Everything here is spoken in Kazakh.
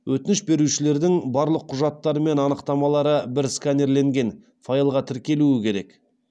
өтініш берушілердің барлық құжаттары мен анықтамалары бір сканерленген файлға тіркелуі керек